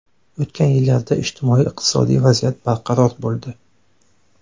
O‘tgan yillarda ijtimoiy-iqtisodiy vaziyat barqaror bo‘ldi.